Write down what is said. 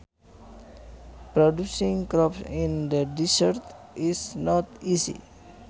Producing crops in the deserts is not easy